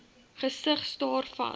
gesig staar vas